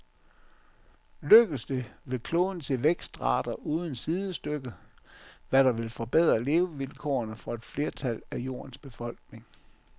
Lykkes det, vil kloden se vækstrater uden sidestykke, hvad der vil forbedre levevilkårene for et flertal af jordens befolkning.